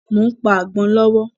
Mo ń pa àgbọ̀n lọ́wọ́